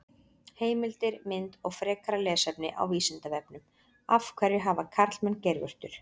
Heimildir, mynd og frekara lesefni á Vísindavefnum: Af hverju hafa karlmenn geirvörtur?